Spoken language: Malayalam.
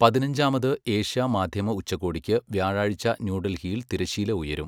പതിനഞ്ചാമത് ഏഷ്യാ മാധ്യമ ഉച്ചകോടിക്ക് വ്യാഴാഴ്ച ന്യുഡല്ഹിയില് തിരശ്ശീല ഉയരും.